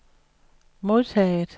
modtaget